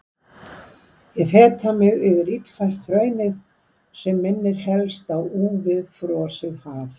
Ég feta mig yfir illfært hraunið sem minnir helst á úfið frosið haf.